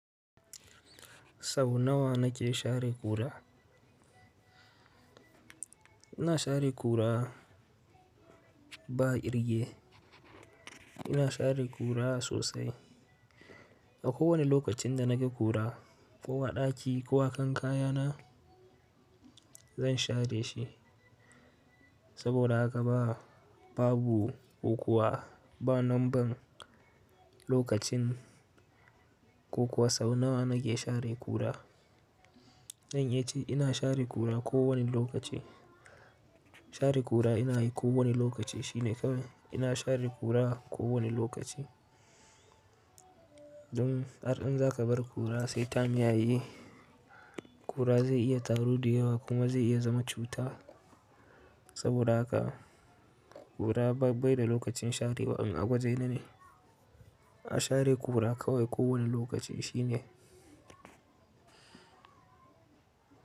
Sau nawa na ke share kura? Ina share kura ba irge. Ina share kura sosai. A kowane lokacin da naga kura, ko a ɗaki ko akan kaya na, zan share shi. Saboda haka ba, babu ukuwa ba, nan ban lokacin ko kuwa sau nawa na ke share kura. Zan iyace ina share kura ko wane lokaci. Share kura ina yi ko wane lokaci shine kawai ina share kura ko wane lokaci. Dun, har in za ka bar kura, sai ta miyaye. Kura zai iya taru ɗu yawa kuma zai iya zama cuta. Saboda haka kura bai da lokacin sharewa awaje na ne. A share kura kawai ko wani lokaci shine.